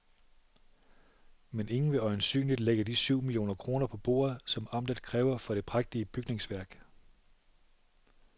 Men ingen vil øjensynligt lægge de syv millioner kroner på bordet, som amtet kræver for det prægtige bygningsværk.